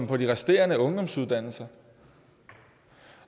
på de resterende ungdomsuddannelser